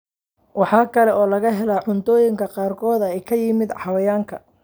Waxa kale oo laga helaa cuntooyinka qaarkood ee ka yimaadda xayawaanka.